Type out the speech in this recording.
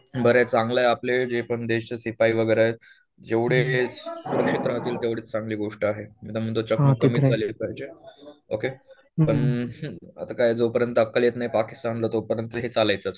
बरंय चांगलंय आपलं जे पण देशचं सिपाही वगैरे आहेत जेवढे सुरक्षित राहतील तेवढे चांगली गोष्ट आहे. ओके आता काय जोपर्यंत अकल येत नाही पाकिस्तानला तोपर्यंत हे चालायचंच.